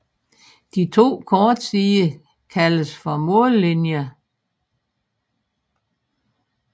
De to korte sider kaldes for mållinjer